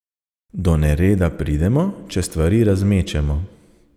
Do nereda pridemo, če stvari razmečemo.